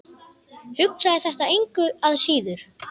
Hugsaði þetta engu að síður.